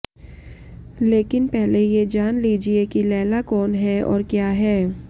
लेकिन पहले ये जान लीजिए कि लैला कौन है और क्या है